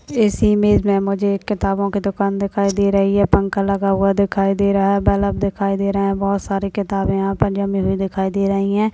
Is image मे मुझे किताबो कि दुकान दिखाई दे रही पंखा लगा हुआ दिखाई दे रहा है बल्ब दिखाई दे रहा है बोहत सारे किताबे यहाँ पे जमी हुए दिखाई दे रही है।